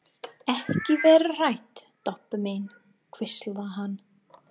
Ekki vera hrædd, Doppa mín hvíslar hann.